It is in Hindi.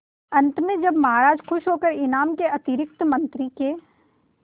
अंत में जब महाराज खुश होकर इनाम के अतिरिक्त मंत्री के